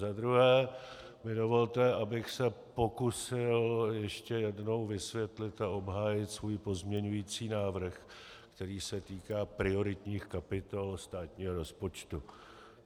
Za druhé mi dovolte, abych se pokusil ještě jednou vysvětlit a obhájit svůj pozměňovací návrh, který se týká prioritních kapitol státního rozpočtu.